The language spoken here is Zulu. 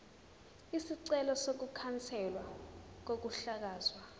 isicelo sokukhanselwa kokuhlakazwa